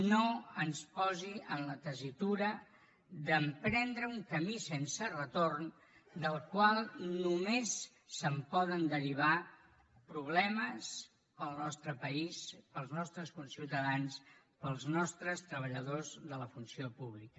no ens posi en la tessitura d’emprendre un camí sense retorn del qual només se’n poden derivar problemes per al nostre país per als nostres conciutadans i per als nostres treballadors de la funció pública